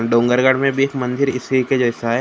दुंगरगड में भी मन्दिर इसे के जैसा है ।